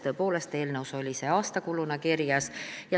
Tõepoolest, eelnõus oli see aastakuluna kirjas.